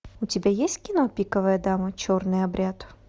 у тебя есть кино пиковая дама черный обряд